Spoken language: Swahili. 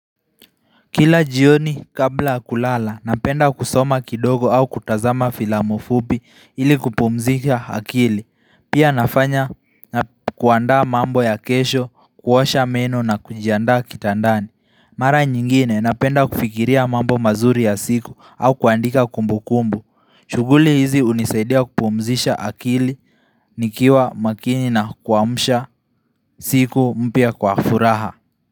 Kila jioni kabla kulala napenda kusoma kidogo au kutazama filamu fupi ili kupumzika akili pia nafanya na kuandaa mambo ya kesho kuosha meno na kunjiandaa kitandani Mara nyingine napenda kufikiria mambo mazuri ya siku au kuandika kumbukumbu shughuli hizi unisaidia kupumzisha akili nikiwa makini na kuamusha siku mpya kwa furaha.